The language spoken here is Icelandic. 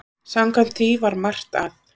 Samkvæmt því var margt að.